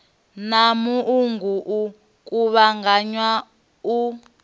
na muungo i kuvhanganya u